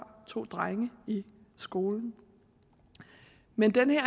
to drenge i skolen men den her